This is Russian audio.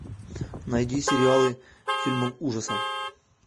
найди сериалы фильмы ужасов